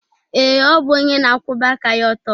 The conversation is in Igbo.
Ee, ọ bụ onye na-akwụba aka ya ọtọ.